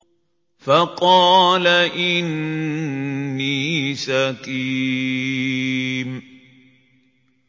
فَقَالَ إِنِّي سَقِيمٌ